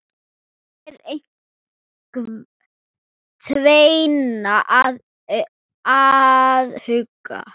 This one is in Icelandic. Hér er tvennt að athuga.